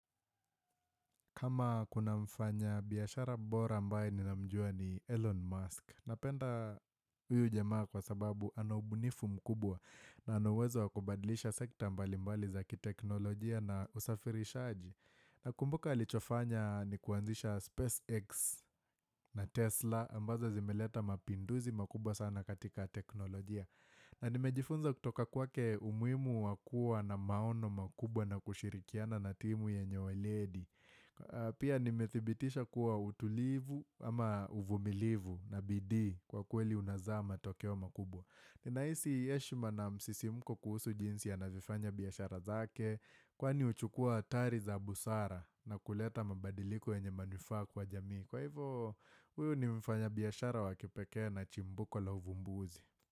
Kama kuna mfanya biashara bora ambaye ninamjua ni Elon Musk. Napenda huyu jamaa kwa sababu ana ubunifu mkubwa na ana uwezo wa kubadilisha sekta mbali mbali za kiteknolojia na usafirishaji. Nakumbuka alichofanya ni kuanzisha SpaceX na Tesla ambazo zimeleta mapinduzi makubwa sana katika teknolojia. Na nimejifunza kutoka kwake umuhimu wakua na maono makubwa na kushirikiana na timu yenye weledi. Pia nimethibitisha kuwa utulivu ama uvumilivu na bidii kwa kweli unazaa matokeo makubwa Ninahisi heshima na msisimko kuhusu jinsi anavyofanya biqshara zake Kwani uchukua hatari za busara na kuleta mabadiliko yenye manufaa kwa jamii Kwa hivo huyu ni mfanya biashara wa kipekee na chimbuko la uvumbuzi.